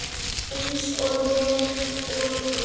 Eins og ég og þú.